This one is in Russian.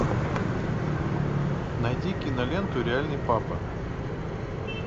найди киноленту реальный папа